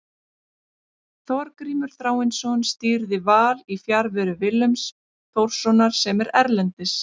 Þorgrímur Þráinsson stýrði Val í fjarveru Willums Þórssonar sem er erlendis.